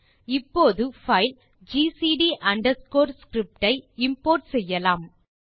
இப்போது file GCD underscore script ஐ import செய்யலாம்